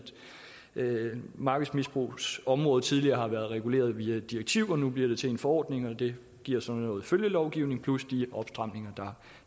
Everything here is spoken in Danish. markedsmisbrugsområdet tidligere været reguleret via direktiver nu bliver det til en forordning det giver så noget følgelovgivning plus de opstramninger